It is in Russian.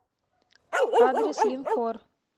адрес линкор